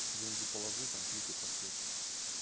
деньги положи там клики пошли